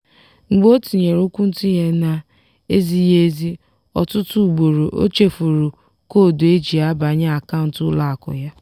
mgbe o tinyere okwuntughe na-ezighị ezi ọtụtụ ugboro ochefuru koodu eji abanye akaụntụ ụlọakụ ya.